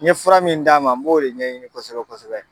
N ye fura min d'a ma n b'o de ɲɛɲini kosɛbɛ kosɛbɛ